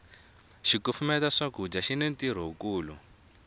xikufumeta swakudya xini ntirho wu kulu